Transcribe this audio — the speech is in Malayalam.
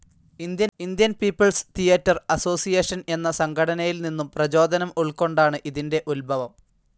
ഇന്ത്യൻ പീപ്പിൾസ് തിയേറ്റർ അസോസിയേഷൻ എന്ന സംഘടനയിൽനിന്നും പ്രചോദനം ഉൾക്കൊണ്ടാണ് ഇതിൻ്റെ ഉത്ഭവം.